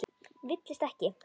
Villist ekki!